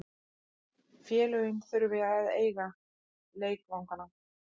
Félögin þurfa að eiga leikvangana.